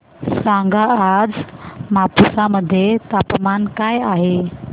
सांगा आज मापुसा मध्ये तापमान काय आहे